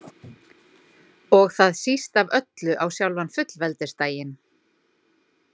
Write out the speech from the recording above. Og það síst af öllu á sjálfan fullveldisdaginn.